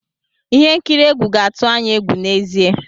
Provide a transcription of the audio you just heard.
Ihe nkiri egwu ga-atụ anyị egwu n'ezie.